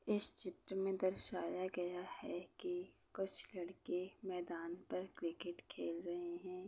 इस चित्र में दर्शया गया है कि कुछ लड़के मैदान पर क्रिकेट खेल रहे हैं।